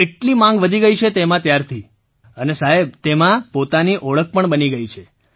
એટલી માગ વધી ગઈ છે તેમાં ત્યારથીઅને તેમાં પોતાની ઓળખ પણ બની ગઈ છે